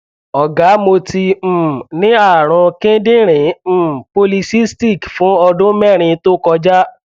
ọgá mo ti um ní ààrùn kíndìnrín polycystic fún ọdún mẹrin tó kọjá